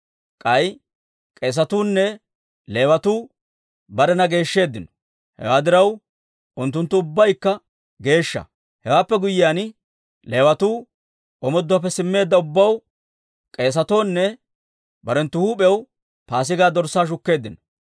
K'ay k'eesatuu nne Leewatuu barena geeshsheeddino; hewaa diraw, unttunttu ubbaykka geeshsha. Hewaappe guyyiyaan, Leewatuu omooduwaappe simmeedda ubbaw, k'eesatoo nne barenttu huup'iyaw Paasigaa dorssaa shukkeeddino.